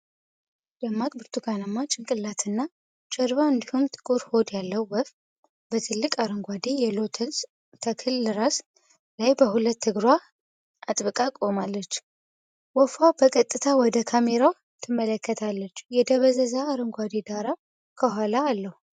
ደማቅ ብርቱካናማ ጭንቅላትና ጀርባ፣ እንዲሁም ጥቁር ሆድ ያለው ወፍ፣ በትልቅ አረንጓዴ የሎተስ ተክል ራስ ላይ በሁለት እግሯ አጥብቃ ቆማለች። ወፏ በቀጥታ ወደ ካሜራው ትመለከታለች፤ የደበዘዘ አረንጓዴ ዳራ ከኋላ አለው።